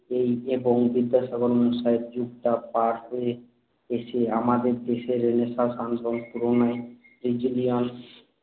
এই যে পংতিতে সাধারণ সায়েযুগটার তার হয়ে এসে আমাদের দেশ এর রেনেসাঁস আন্দোলন পূরণের